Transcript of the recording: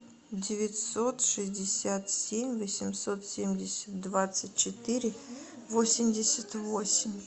девятьсот шестьдесят семь восемьсот семьдесят двадцать четыре восемьдесят восемь